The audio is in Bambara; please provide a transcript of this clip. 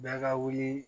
Bɛɛ ka wuli